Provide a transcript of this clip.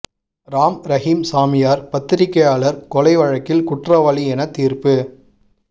ராம் ரஹீம் சாமியார் பத்திரிகையாளர் கொலை வழக்கில் குற்றவாளி என தீர்ப்பு